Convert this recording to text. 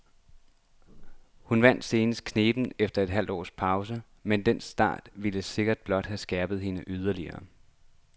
Hun vandt senest knebent efter et halvt års pause, men den start vil sikkert blot have skærpet hende yderligere.